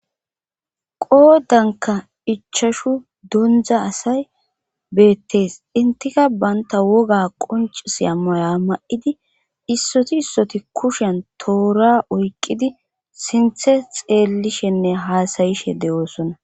Qoodanka ichashu dondza asay beettees intika banta woga qoncis amoya ma7idi issoti issoti kushen toora oykqidi sinthe xeellishenne haasayishe de'oosona.